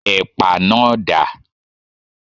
Ẹ̀pà náà dà?